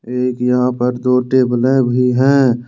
एक यहां पर दो टेबलें भी है।